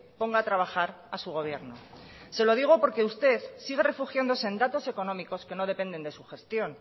ponga a trabajar a su gobierno se lo digo porque usted sigue refugiándose en datos económicos que no dependen de su gestión